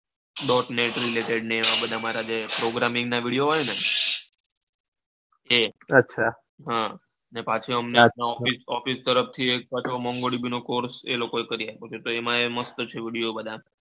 dotnet, related ને બધા મારા જે programming ના video હોય ને એ અચ્છા હા ને પાંચ અમદાવાદ માં office તરફ થી એક course એનો પણ પાછો મસ્ત video છે બનાવેલો.